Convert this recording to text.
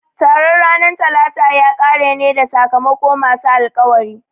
Taron ranar Talata ya kare ne da sakamako masu alkawari